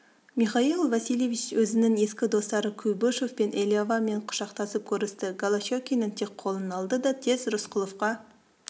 михаил васильевич өзінің ескі достары куйбышевпен элиавамен құшақтасып көрісті голощекиннің тек қолын алды да тез рысқұловқа